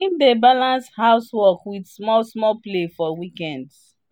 him dey balans house work with small small play for weekends.